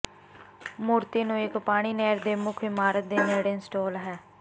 ਮੂਰਤੀ ਨੂੰ ਇੱਕ ਪਾਣੀ ਨਹਿਰ ਦੇ ਮੁੱਖ ਇਮਾਰਤ ਦੇ ਨੇੜੇ ਇੰਸਟਾਲ ਹੈ